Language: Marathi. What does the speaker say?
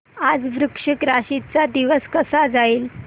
आज वृश्चिक राशी चा दिवस कसा जाईल